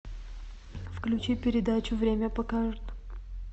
включи передачу время покажет